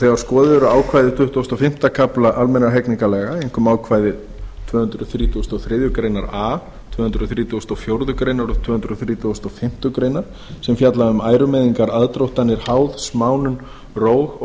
þegar skoðuð eru ákvæði tuttugasta og fimmta kafla almennra hegningarlaga einkum ákvæði tvö hundruð þrítugustu og þriðju grein a tvö hundruð þrjátíu og fjórar greinar og tvö hundruð þrítugustu og fimmtu grein sem fjalla um ærumeiðingar aðdróttanir háð smánun róg og